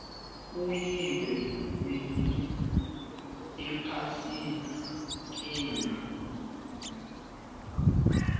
kuyiwa winni ephasikeni